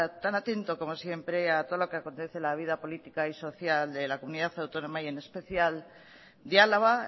tan atento como siempre a todo lo que acontece en la vida política y social de la comunidad autónoma y en especial de álava